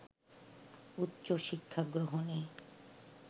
উচ্চশিক্ষা গ্রহণে